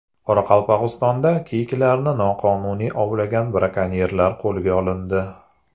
Qoraqalpog‘istonda kiyiklarni noqonuniy ovlagan brakonyerlar qo‘lga olindi.